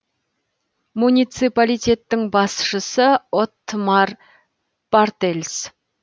муниципалитеттің басшысы оттмар бартельс